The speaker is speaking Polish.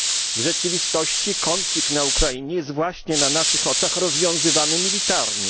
W rzeczywistości konflikt na Ukrainie jest właśnie na naszych oczach rozwiązywany militarnie.